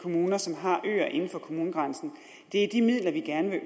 kommuner som har øer inden for kommunegrænsen er de midler vi gerne